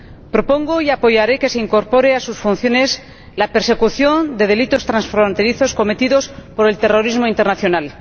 Propongo y apoyaré que se incorpore a sus funciones la persecución de delitos transfronterizos cometidos por el terrorismo internacional.